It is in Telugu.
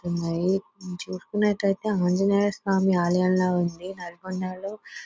ఉన్నాయి చూసుకున్నట్లయితే ఆంజనేయ స్వామి ఆలయం లాగా ఉంది నల్గొండలో --